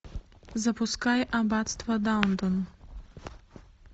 запускай аббатство даунтон